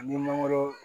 An bɛ mangoro